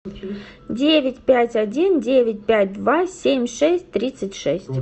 девять пять один девять пять два семь шесть тридцать шесть